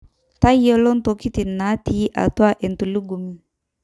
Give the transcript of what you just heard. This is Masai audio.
tayiolo ntokitin naitii atua entulugumi